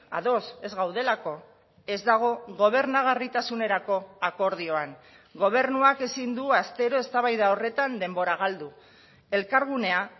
ados ez gaudelako ez dago gobernagarritasunerako akordioan gobernuak ezin du astero eztabaida horretan denbora galdu elkargunea